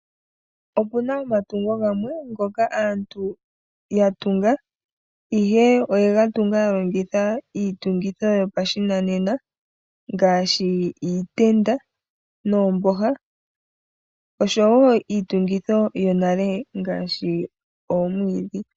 Opuna omatungo gamwe ngoka aantu ya tunga ashike oyega tunga yalongitha iitungitho yopashinanena ngaashi iitenda noomboha osho wo iitungitho yonale ngaashi oomwiidhi.